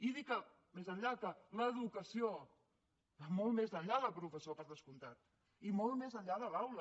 i dic més enllà que l’educació va molt més enllà del professor per descomptat i molt més enllà de l’aula